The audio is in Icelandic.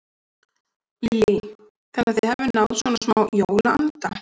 Lillý: Þannig að þið hafið náð svona smá jólaanda?